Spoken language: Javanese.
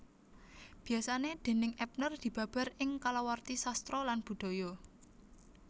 Biasané déning Ebner dibabar ing kalawarti sastra lan budaya